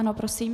Ano prosím?